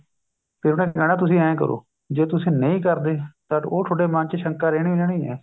ਵੀ ਉਹਨੇ ਕਹਿਣਾ ਹੈ ਤੁਸੀਂ ਐਂ ਕਰੋ ਜੇ ਤੁਸੀਂ ਨਹੀਂ ਕਰਦੇਤਾਂ ਉਹ ਤੁਹਾਡੇ ਮੰਨ ਚ ਸ਼ੰਕਾ ਰਹਿਣੀ ਹੀ ਰਹਿਣੀ ਹੈ